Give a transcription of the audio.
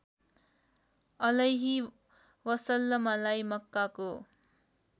अलैहि वसल्लमलाई मक्काको